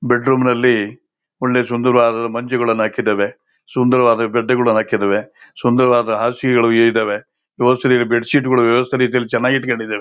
bed room ಅಲ್ಲಿ ಒಳ್ಳೆ ಸುಂದರವಾದ ಮಂಚಗಳನ್ನಾ ಹಾಕಿದ್ದಾವೆ ಸುಂದರವಾದ ಗದ್ದೆಗಳು ಹಾಕಿದ್ದವೇ ಸುಂದರವಾದ ಹಾಸಿಗೆಗಳು ಇಲ್ಲಿದ್ದವೆ ಬೆಡ್ಶೀಟ್ ವ್ಯವಸ್ಥ ರೀತಿಯಲ್ಲಿ ಚೆನ್ನಾಗಿ ಇಟ್ಟಕೊಂಡಿದ್ದವೇ